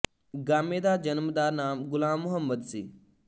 ਗਾਮੇ ਦਾ ਜਨਮ ਦਾ ਨਾਮ ਗ਼ੁਲਾਮ ਮੁਹੰਮਦ ਸੀ